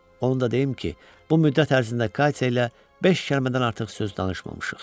Onu da deyim ki, bu müddət ərzində Katya ilə beş kəlmədən artıq söz danışmamışıq.